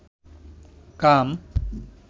কাম